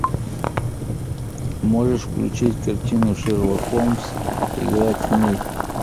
можешь включить картину шерлок холмс игра теней